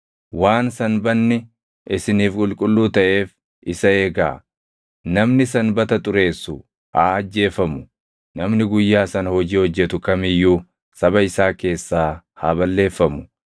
“ ‘Waan Sanbanni isiniif qulqulluu taʼeef isa eegaa. Namni Sanbata xureessu haa ajjeefamu; namni guyyaa sana hojii hojjetu kam iyyuu saba isaa keessaa haa balleeffamu.